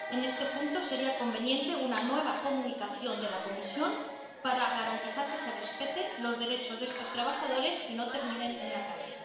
En este punto, sería conveniente una nueva comunicación de la Comisión para garantizar que se respeten los derechos de estos trabajadores y no terminen en la calle.